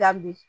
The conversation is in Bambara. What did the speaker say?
Dabi